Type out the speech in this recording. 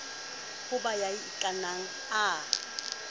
ho ba ya ikanang a